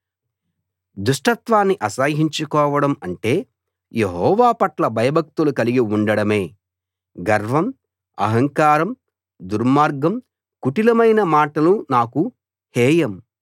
దుష్టత్వాన్ని అసహ్యించుకోవడం అంటే యెహోవాపట్ల భయభక్తులు గలిగి ఉండడమే గర్వం అహంకారం దుర్మార్గం కుటిలమైన మాటలు నాకు హేయం